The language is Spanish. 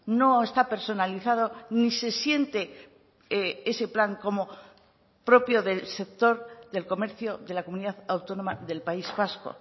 no está personalizado ni se siente ese plan como propio del sector del comercio de la comunidad autónoma del país vasco